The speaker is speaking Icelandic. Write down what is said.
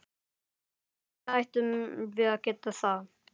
Af hverju ættum við að geta það?